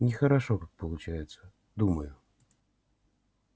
нехорошо как получается думаю